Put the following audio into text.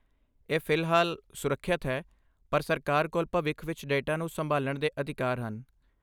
ਇਹ ਫਿਲਹਾਲ ਸੁਰੱਖਿਅਤ ਹੈ, ਪਰ ਸਰਕਾਰ ਕੋਲ ਭਵਿੱਖ ਵਿੱਚ ਡੇਟਾ ਨੂੰ ਸੰਭਾਲਣ ਦੇ ਅਧਿਕਾਰ ਹਨ।